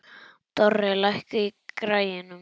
Dorri, lækkaðu í græjunum.